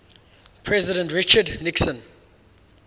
president richard nixon